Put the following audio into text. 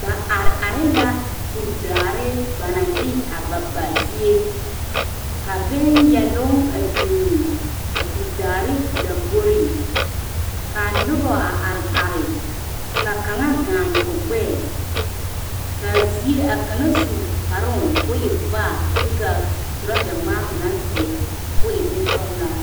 Noba are are la kur daare ba naŋ de a ba ba zie, ka bon yɛloŋ a biŋ a kur daare lamboriŋ kaa noba a are are ka kaŋa gaane o gbɛɛ kaa kaŋa su kparoo kɔɔ waa vaare kyɛ kaa trouza ŋmaa o naŋ seɛ waa bonsɔglaa.